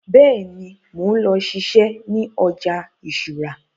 Bẹ́ẹ̀ni, mo ń lọ siṣẹ́ ní ọjà ìṣúra